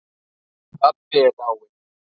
Pabbi er dáinn.